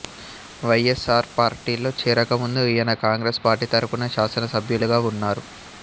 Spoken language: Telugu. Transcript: వై ఎస్ ఆర్ పార్టీలో చెరక ముందు ఈయన కాంగ్రెస్ పార్టీ తరపున శాసనసభ్యులుగా వున్నారు